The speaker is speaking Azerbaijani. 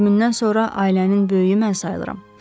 Onun ölümündən sonra ailənin böyüyü mən sayıram.